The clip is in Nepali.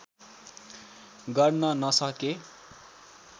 गर्न नसके